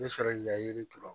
N bɛ sɔrɔ k'i ka yiri turu